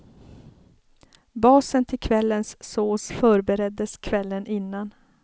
Basen till kvällens sås förbereddes kvällen innan.